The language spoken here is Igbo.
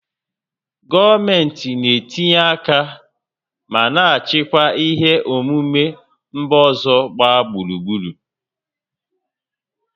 Gọọmentị na-etinye aka ma na-achịkwa ihe omume mba ọzọ gbaa gburugburu